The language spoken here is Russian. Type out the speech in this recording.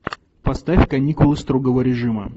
поставь каникулы строгого режима